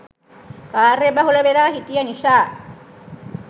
කාර්යබහුල වෙලා හිටිය නිසා